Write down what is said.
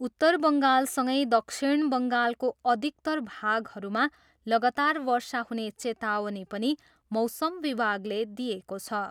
उत्तर बङ्गालसँगै दक्षिण बङ्गालको अधिकतर भागहरूमा लगातार वर्षा हुने चेतावनी पनि मौसम विभागले दिएको छ।